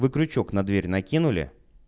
вы крючок на дверь накинули